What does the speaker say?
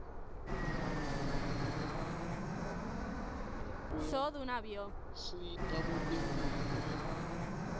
ayasita kwetemphilo